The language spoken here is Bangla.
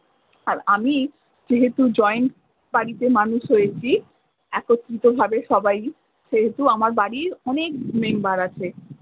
আর আমি যেহেতু জয়েন্ট বাড়িতে মানুষ হয়েছি একত্রিত ভাবে সবাই সেহেতু আমার বাড়ির অনেক মেম্বার আছে।